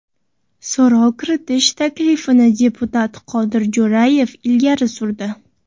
So‘rov kiritish taklifini deputat Qodir Jo‘rayev ilgari surdi.